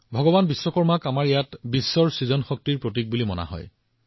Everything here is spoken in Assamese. ভগৱান বিশ্বকৰ্মাক আমাৰ দেশত বিশ্বৰ সৃষ্টিশীল শক্তিৰ প্ৰতীক হিচাপে গণ্য কৰা হয়